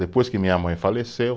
Depois que minha mãe faleceu,